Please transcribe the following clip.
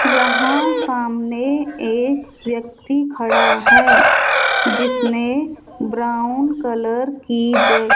यहां सामने एक व्यक्ति खड़ा है जिसने ब्राउन कलर की जै --